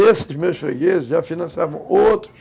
Esses meus fregueses já financiavam outros